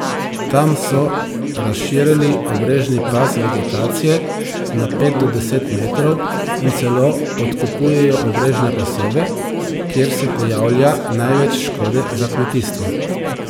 Tam so razširili obrežni pas vegetacije na pet do deset metrov in celo odkupujejo obrežne pasove, kjer se pojavlja največ škode za kmetijstvo.